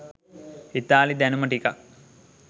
ඉතාලි දැනුම ටිකක්